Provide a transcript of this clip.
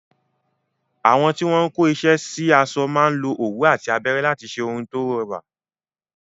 Àwọn tí wọ́n ń kó iṣẹ́ sáṣọ máa lo òwú àti abẹ́rẹ́ láti ṣe ohun tí ó rẹwà.